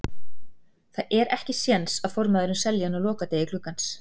Það er ekki séns að formaðurinn selji hann á lokadegi gluggans.